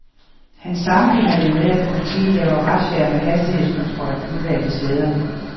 Han sammenligner det med, at politiet laver razziaer med hastighedskontrol udvalgte steder.